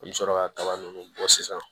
An bɛ sɔrɔ ka kaba ninnu bɔ sisan